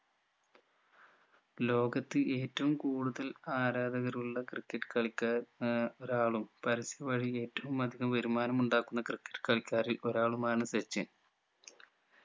ലോകത്ത് ഏറ്റവും കൂടുതൽ ആരാധകർ ഉള്ള ക്രിക്കറ്റ് കളിക്കാർ ഏർ ഒരാളും പരസ്യ വഴി ഏറ്റവും അധികം വരുമാനം ഉണ്ടാക്കുന്ന ക്രിക്കറ്റ് കളിക്കാരിൽ ഒരാളുമാണ് സച്ചിൻ